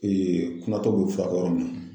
kumatɔ bɛ furakɛ yɔrɔ min na.